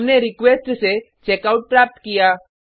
हमने रिक्वेस्ट से चेकआउट प्राप्त किया